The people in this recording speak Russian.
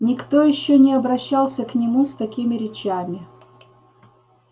никто ещё не обращался к нему с такими речами